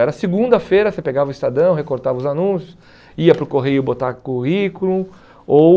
Era segunda-feira, você pegava o Estadão, recortava os anúncios, ia para o correio botar currículo ou...